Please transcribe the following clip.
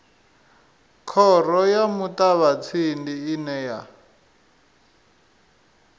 khoro ya muṱavhatsindi ine ya